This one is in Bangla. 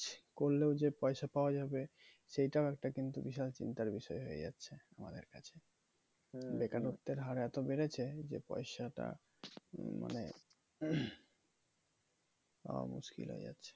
করলেও যে পয়সা পাওয়া যাবে সেটাও একটা কিন্তু বিশাল চিন্তার বিষয় হয়ে যাচ্ছে আমাদের কাছে বেকারত্বের হার এতো বেড়েছে যে পয়সাটা মানে পাওয়া মুশকিল হয়ে যাচ্ছে